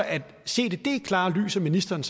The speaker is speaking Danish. set i det klare lys at ministeren